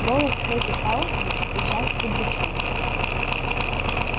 голос хэтти тарлтон звучал удручённо